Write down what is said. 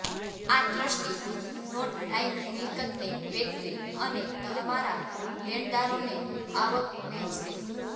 આ ટ્રસ્ટી નોટ લાઈન મિલકતને વેચશે અને તમારા લેણદારોને આવક વહેંચશે